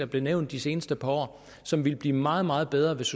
blevet nævnt det seneste par år og som ville blive meget meget bedre hvis